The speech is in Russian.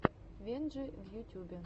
венджи в ютюбе